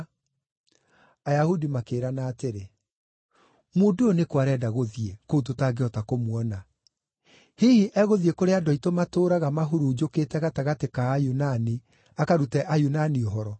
Ayahudi makĩĩrana atĩrĩ, “Mũndũ ũyũ nĩ kũ arenda gũthiĩ, kũu tũtangĩhota kũmuona? Hihi egũthiĩ kũrĩa andũ aitũ matũũraga mahurunjũkĩte gatagatĩ ka Ayunani, akarute Ayunani ũhoro?